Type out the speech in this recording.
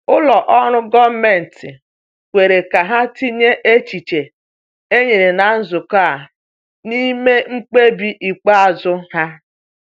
Ụlọ ọrụ gọọmenti kwere ka ha tinye echiche e nyere na nzukọ a n’ime mkpebi ikpeazụ ha.